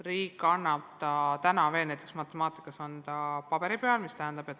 Riik annab selle näiteks matemaatikas paberi peal ette.